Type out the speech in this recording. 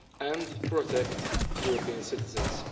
and protect European citizens.